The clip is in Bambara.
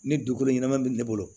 Ni dugukolo ɲɛnama bɛ ne bolo